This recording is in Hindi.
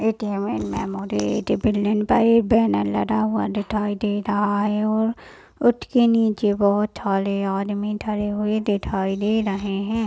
एटीएम एंड मेमोरी बैनर लगा हुआ दिखाई दे रहा है और उसके नीचे बहुत सारे आदमी डरे हुए दिखाई दे रहे है।